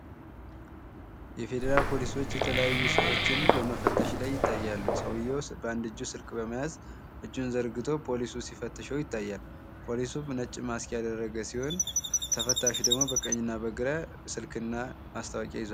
የፌደራል ፖሊሶች የተለያዩ ሰዎችን በመፈተሽ ለይ ይታያሉ። ሰውዬው በአንድ እጁ ስልክ ይዞ ፖሊሱ ሲፈትሸው ይታያል። ፖሊሱም ነጭ ማስክ ያደረገ ሲሆን ተፈታሹ ደግሞ በቀኝና በግራ ስልክና ማስታወቂያ ይዟል።